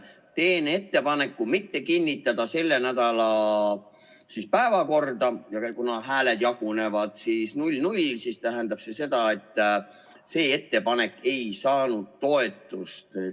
Teen ettepaneku mitte kinnitada selle nädala päevakorda, kuna hääled jagunevad 0 : 0, ja see tähendab seda, et see ettepanek ei saanud toetust.